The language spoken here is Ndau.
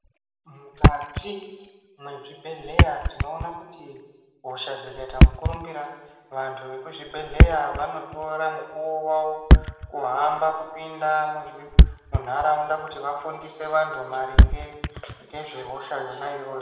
Mukati mwezvibhehleya tinoone kuti hosha dzikaite mukurumbira, vantu vekuzvibhehleya vanotora mukuwo wawo , kuhamba kupinda munharaunda kuti vafundise vantu, maringe nehosha yo iyoyo.